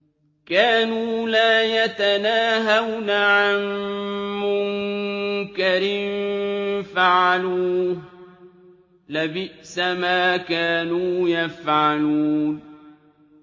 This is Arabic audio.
كَانُوا لَا يَتَنَاهَوْنَ عَن مُّنكَرٍ فَعَلُوهُ ۚ لَبِئْسَ مَا كَانُوا يَفْعَلُونَ